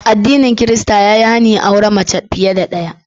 Addinin Kirista ya yi hani auren mace fiye da daya.